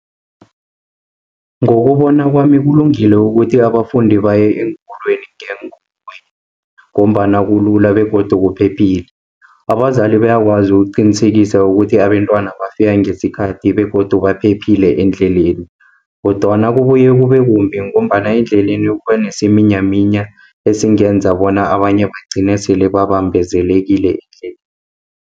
Ngokubona kwami kulungile ukuthi abafundi baye eenkolweni ngeenkoloyi, ngombana kulula begodu kuphephile. Abazali bayakwazi ukuqinisekisa ukuthi abentwana bafika ngesikhathi, begodu baphephile endleleni, kodwana kubuye kubekumbi, ngombana endleleni kubanesiminyaminya ezingenza bona abanye bagcine sele babambezelekile endleleni.